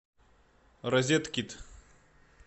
розеткид